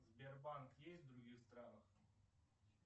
сбербанк есть в других странах